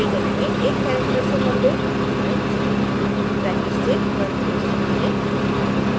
latex में एक character से लम्बे अर्ग्युमेंट्स ब्रैकेट्स से बंद किये जाते हैं